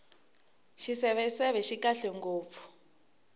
xiseveseve xi kahle ngopfu